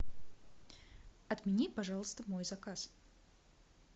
отмени пожалуйста мой заказ